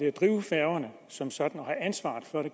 at drive færgerne som sådan og have ansvaret for det